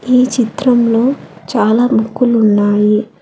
ఈ చిత్రంలో చాలా బుక్కులు ఉన్నాయి.